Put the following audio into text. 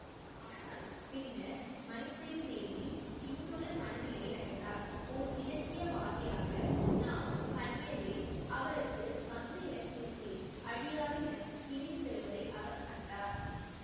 ஆனால் பின்னர் மைத்ரேயி தேவி இன்னொரு மனநிலையை அடைந்தார் ஓர் இலக்கியவாதியாக நா ஹன்யதே அவருக்கு வங்க இலக்கியத்தில் அழியாத இடம் தேடித்தருவதை அவர் கண்டார்